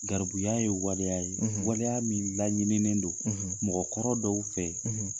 Garibuya ye waleya ye waleya min laɲininen don mɔgɔkulu dɔw fɛ